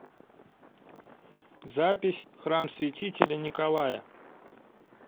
запись храм святителя николая